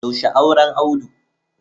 Yaushe auren Audu?